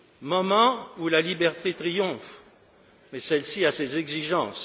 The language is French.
Moment où la liberté triomphe, mais celle ci a ses exigences.